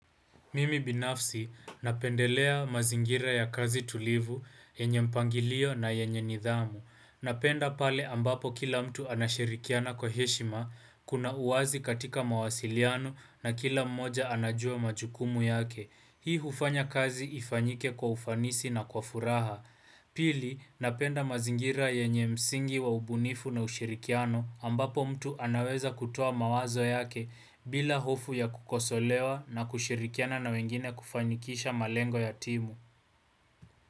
Mimi binafsi, napendelea mazingira ya kazi tulivu, yenye mpangilio na yenye nidhamu. Napenda pale ambapo kila mtu anashirikiana kwa heshima, kuna uwazi katika mawasiliano na kila mmoja anajua majukumu yake. Hii hufanya kazi ifanyike kwa ufanisi na kwa furaha. Pili napenda mazingira yenye msingi wa ubunifu na ushirikiano ambapo mtu anaweza kutoa mawazo yake bila hofu ya kukosolewa na kushirikiana na wengine kufanikisha malengo ya timu.